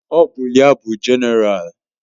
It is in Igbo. Ọ bụ ya bụ Jenéral?